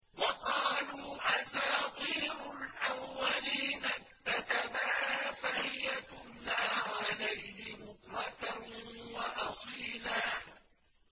وَقَالُوا أَسَاطِيرُ الْأَوَّلِينَ اكْتَتَبَهَا فَهِيَ تُمْلَىٰ عَلَيْهِ بُكْرَةً وَأَصِيلًا